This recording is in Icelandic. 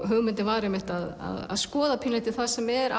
hugmyndin var einmitt að skoða það sem er